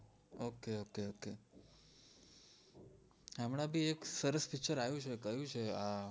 okay okay okay હમણાં થી એક સરસ picture આવે છે ક્યુ છે યાર